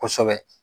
Kosɛbɛ